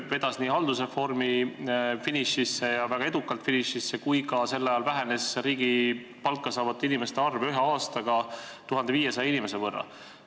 Ta vedas haldusreformi väga edukalt finišisse ja sel ajal vähenes riigilt palka saavate inimeste arv ühe aastaga 1500 võrra.